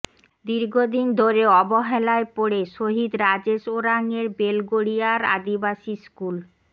দীর্ঘদিন ধরে অবহেলায় পড়ে শহিদ রাজেশ ওরাংয়ের বেলগড়িয়ার আদিবাসী স্কুল